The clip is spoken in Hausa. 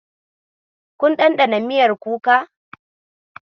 Kun ɗanɗana miyar kuka.